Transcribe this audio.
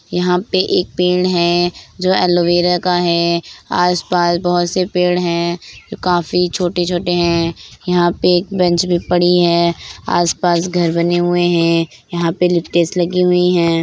यहाँ पे एक पेड़ है जो एलोवेरा का है आस-पास बहुत से पेड़ हैं जो काफी छोटे-छोटे हैं यहाँ पे एक बेंच भी पड़ी है आस-पास घर बने हुए हैं यहाँ पे लगी हुई हैं।